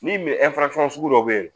Min sugu dɔw bɛ yen